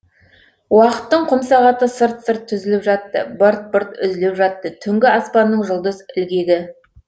уақыттың құмсағаты сырт сырт түзіліп жатты бырт бырт үзіліп жатты түнгі аспанның жұлдыз ілгегі